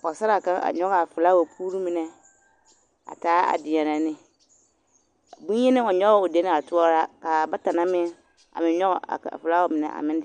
Pɔgesaraa kaŋ a nyɔge a filawapuuri mine a taa a deɛnɛ ne ka bonyenaa nyɔge o dene haa toɔraa k'a bata na meŋ a meŋ nyɔge a felaawa mine a meŋ